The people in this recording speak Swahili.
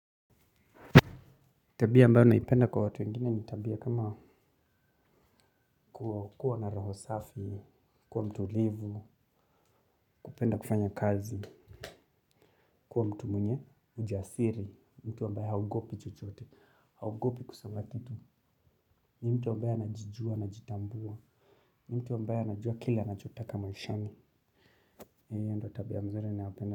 Tabia ambayo naipenda kwa watu wengine ni tabia kama kuwa na roho safi, kuwa mtulivu, kupenda kufanya kazi, kuwa mtu mwenye ujasiri, mtu ambaye haogopi chochote, haogopi kusema kitu, ni mtu ambaye anajijua, anajitambua, ni mtu ambaye anajua kile anachotaka maishani. Hii ndio tabia mzuri ninayopenda.